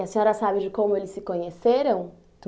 E a senhora sabe de como eles se conheceram?